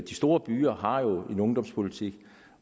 store byer har en ungdomsboligpolitik